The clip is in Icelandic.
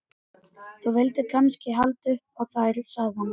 Þú vildir kannski halda upp á þær, sagði hann.